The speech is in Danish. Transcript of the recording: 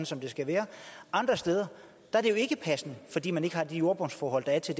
som det skal være andre steder er det jo ikke passende fordi man ikke har de jordbundsforhold der er til